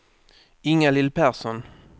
Ingalill Persson